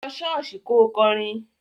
Lọ ṣọ́ọ̀ṣì kò kọrin!